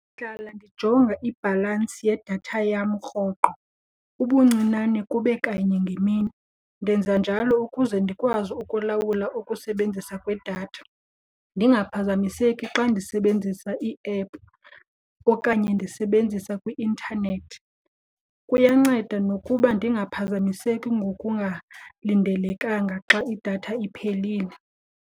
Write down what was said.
Ndihlala ndijonga ibhalansi yedatha yam rhoqo ubuncinane kube kanye ngemini. Ndenza njalo ukuze ndikwazi ukulawula ukusebenzisa kwedatha, ndingaphazamiseki xa ndisebenzisa thina iiephu okanye ndisebenzisa kwi-intanethi. Kuyanceda nokuba ndingaphazamiseki ngokungalindelekanga xa idatha iphelile.